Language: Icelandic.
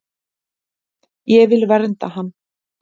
Ég vil vernda hann.